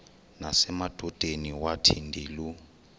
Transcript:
nasemadodeni wathi ndilu